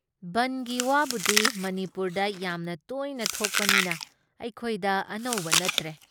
ꯕꯟꯗꯒꯤ ꯋꯥꯕꯨꯗꯤ ꯃꯅꯤꯄꯨꯔꯗ ꯌꯥꯝꯅ ꯇꯣꯏꯅ ꯊꯣꯛꯄꯅꯤꯅ ꯑꯩꯈꯣꯏꯗ ꯑꯅꯧꯕ ꯅꯠꯇ꯭ꯔꯦ ꯫